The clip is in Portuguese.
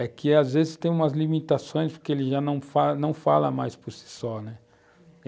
É que, às vezes, tem umas limitações, porque ele já não fala, não fala mais por si só, né. Uhum.